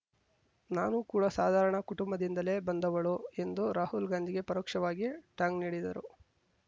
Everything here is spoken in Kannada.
ನಾನೂ ಕೂಡ ಸಾಧಾರಣ ಕುಟುಂಬದಿಂದಲೇ ಬಂದವಳು ಎಂದು ರಾಹುಲ್‌ ಗಾಂಧಿಗೆ ಪರೋಕ್ಷವಾಗಿ ಟಾಂಗ್‌ ನೀಡಿದರು